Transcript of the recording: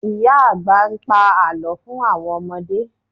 Ìyá àgbà ń pa Àlọ́ fún àwọn ọmọdé